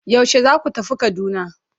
Yaushe zaku tafi Kaduna?